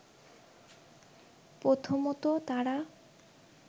প্রথমত তারা